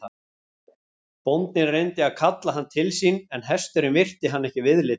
Bóndinn reyndi að kalla hann til sín en hesturinn virti hann ekki viðlits.